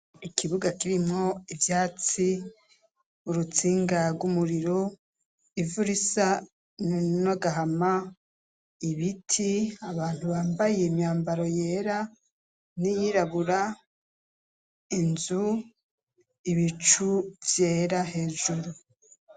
Ikibuga kirimwo ivyatsi urutsinga rw'umuriro ivuraisa ninogahama ibiti abantu bambaye imyambaro yera niyirabura inzu ibicu vyera hejuru.